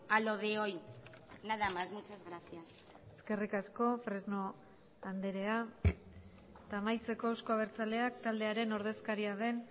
a lo de hoy nada más muchas gracias eskerrik asko fresno andrea eta amaitzeko euzko abertzaleak taldearen ordezkaria den